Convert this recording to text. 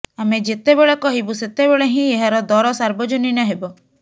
ଆମେ ଯେତେବେଳେ କହିବୁ ସେତେବେଳେ ହିଁ ଏହାର ଦର ସାର୍ବଜନୀନ ହେବ